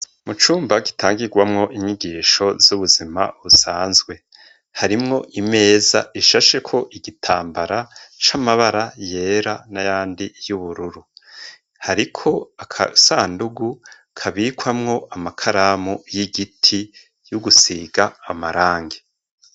Mu cumba gitangirwamwo inyigisho z'ubuzima busanzwe. Harimwo imeza ishasheko igitambara c'amabara yera n'ayandi y'ubururu. Hariko agasandugu kabikwamwo amakaramu y'igiti y'ugusiga amarangi.